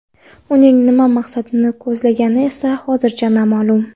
Uning nima maqsadni ko‘zlagani esa hozircha noma’lum.